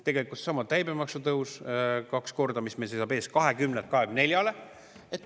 " Tegelikult seisab ees käibemaksu tõus kaks korda, 20%‑lt 24%‑le.